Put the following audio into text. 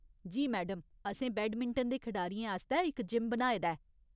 जी madam, असें badminton दे खढारियें आस्तै इक जिम बनाए दा ऐ।